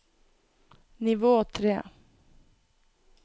nivå tre